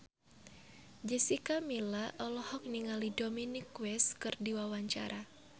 Jessica Milla olohok ningali Dominic West keur diwawancara